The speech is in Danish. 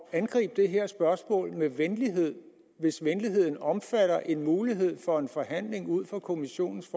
at angribe det her spørgsmål med venlighed hvis venligheden omfatter en mulighed for en forhandling ud fra kommissionens